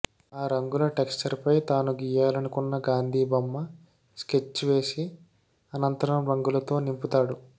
ఆ రంగుల టెక్చర్పై తాను గీయాలనుకున్న గాంధీ బొమ్మ స్కెచ్వేసి అనంతరం రంగులతో నింపుతాడు